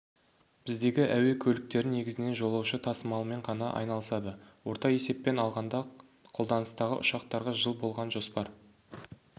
біздегі әуе көліктері негізінен жолаушы тасымалымен ғана айналысады орта есеппен алғанда қолданыстағы ұшақтарға жыл болған жоспар